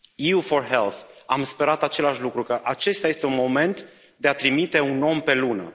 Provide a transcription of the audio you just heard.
EU4Health, am sperat același lucru, că acesta este un moment de a trimite un om pe Lună.